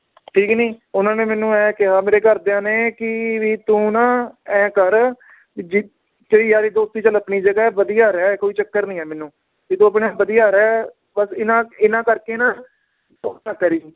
ਠੀਕ ਨੀ ਉਹਨਾਂ ਨੇ ਮੈਨੂੰ ਇਹ ਕਿਹਾ ਮੇਰੇ ਘਰਦਿਆਂ ਨੇ ਕਿ ਵੀ ਤੂੰ ਨਾ ਇਉਂ ਕਰ ਵੀ ਜਿਥੇ ਯਾਰੀ ਦੋਸਤੀ ਚੱਲ ਆਪਣੀ ਜਗਾਹ ਏ ਵਧੀਆ ਰਹਿ ਕੋਈ ਚੱਕਰ ਨੀ ਏ ਮੈਨੂੰ, ਵੀ ਤੂੰ ਆਪਣਾ ਵਧੀਆ ਰਹਿ ਬੱਸ ਇਹਨਾਂ ਇਹਨਾਂ ਕਰਕੇ ਨਾ